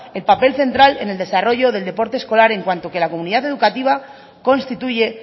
el papel central en el desarrollo del deporte escolar en cuanto que la comunidad educativa constituye